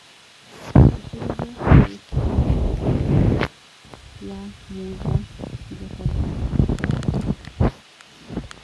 thikĩrirĩa kaĩrïtũ uroka gĩthumo ya mutha jakadala